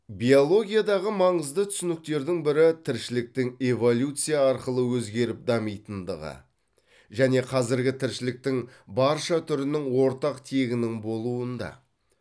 биологиядағы маңызды түсініктердің бірі тіршіліктің эволюция арқылы өзгеріп дамитындығы және қазіргі тіршіліктің барша түрінің ортақ тегінің болуында